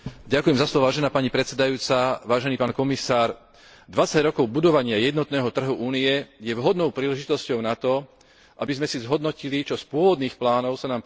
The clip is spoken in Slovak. Dvadsať rokov budovania jednotného trhu Únie je vhodnou príležitosťou na to, aby sme si zhodnotili, čo z pôvodných plánov sa nám podarilo naplniť a čo ešte nefunguje tak, ako by sme si želali.